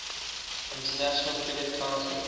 international cricket council